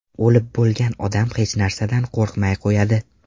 O‘lib bo‘lgan odam hech narsadan qo‘rqmay qo‘yadi.